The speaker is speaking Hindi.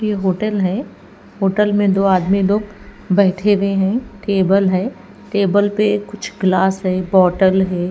ये होटल है होटल में दो आदमी लोग बैठे हुए हैं टेबल है टेबल पे कुछ ग्लास है बॉटल है।